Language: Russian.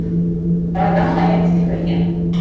программа лояльности крылья